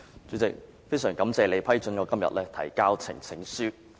主席，非常感謝你批准我今天提交呈請書。